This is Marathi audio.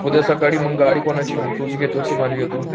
उद्या सकाळी मग गाडी कोणाची मग तुझी घेतोस की माझी घेतो?